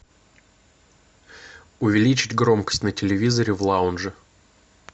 увеличить громкость на телевизоре в лаунже